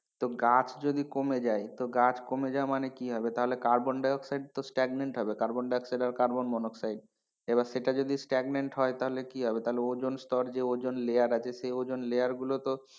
তো গাছ যদি কমে যায় তো গাছ কমে যাওয়া মানে কি হবে তাহলে কার্বন ডাই-অক্সাইড তো stagnant হবে কার্বন ডাই অক্সাইড বা কার্বন এর অক্সাইড এবার সেটা যদি stagnant হয় তাহলে কি হবে? তাহলে ওজন স্তর যে ওজন layer আছে সে ওজন layer তো,